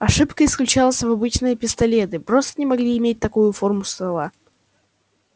ошибка исключалась обычные пистолеты просто не могли иметь такую форму ствола